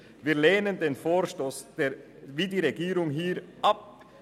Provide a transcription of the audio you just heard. Wir lehnen den Vorstoss wie die Regierung ab.